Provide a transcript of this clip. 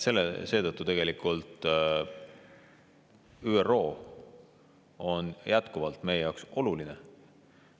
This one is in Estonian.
Ja tegelikult ÜRO on jätkuvalt meie jaoks oluline.